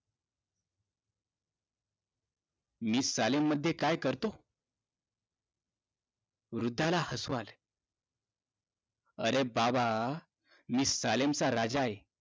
मी सालेनमध्ये काय करतो वृद्धाला हसू आलं अरे बाबा मी सालेनचा राजा आहे